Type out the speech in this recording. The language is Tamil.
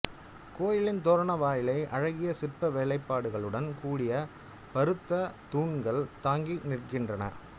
கோயிலின் தோரண வாயிலை அழகிய சிற்ப வேலைப்பாடுகளுடன் குடிய பருத்த தூண்கள் தாங்கி நிற்கின்றன